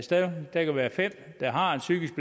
der kan være fem der har en psykisk